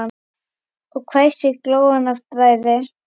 Og hvæsir, glóandi af bræði.